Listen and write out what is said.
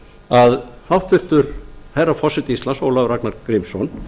að háttvirtur herra forseti íslands ólafur ragnar grímsson